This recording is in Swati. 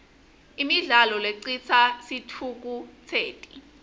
imidlalo lecitsa sitfukutseti